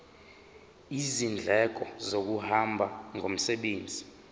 izindleko zokuhamba ngomsebenzi